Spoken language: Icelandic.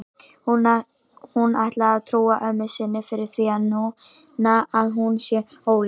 Hún ætlar að trúa ömmu sinni fyrir því núna að hún sé ólétt.